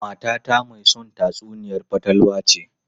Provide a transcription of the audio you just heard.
Matata mai son tatsuniyar fatalwa ce.